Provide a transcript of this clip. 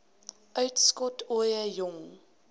uitskot ooie jong